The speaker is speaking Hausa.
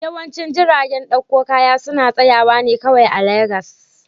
Yawancin jiragen dakon kaya suna tsayawa ne kawai a Legas